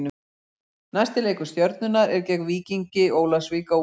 Næsti leikur Stjörnunnar er gegn Víkingi Ólafsvík á útivelli.